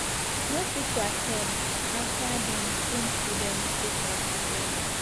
no fit to at ten d afta dem change di venue sake of harsh weather